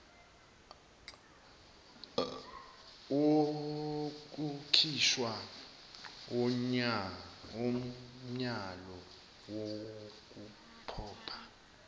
wokukhishwa komyalo wokuphoqa